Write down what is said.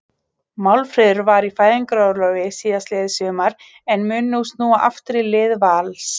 Málfríður var í fæðingarorlofi síðastliðið sumar en mun nú snúa aftur í lið Vals.